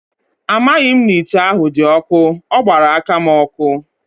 Amaghị m na ite ahụ dị ọkụ, ọ gbara aka m ọkụ.